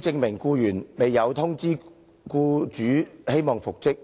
證明該僱員未有通知僱主希望復職。